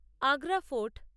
Agra fort